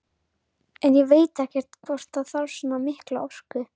En ég veit ekkert hvort það þarf svona mikla orku.